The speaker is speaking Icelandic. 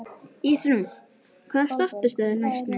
Ísrún, hvaða stoppistöð er næst mér?